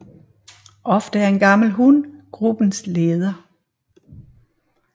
Ofte er en gammel hun gruppens leder